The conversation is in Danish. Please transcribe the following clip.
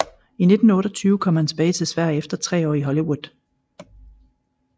I 1928 kom han tilbage til Sverige efter tre år i Hollywood